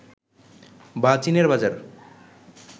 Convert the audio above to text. বা চীনের বাজার